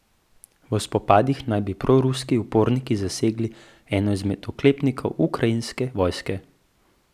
V spopadih naj bi proruski uporniki zasegli eno izmed oklepnikov ukrajinske vojske.